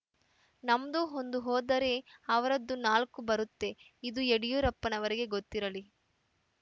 ನಮ್ದು ಒಂದು ಹೋದರೆ ಅವರದ್ದು ನಾಲ್ಕು ಬರುತ್ತೆ ಇದು ಯಡಿಯೂರಪ್ಪನವರಿಗೆ ಗೊತ್ತಿರಲಿ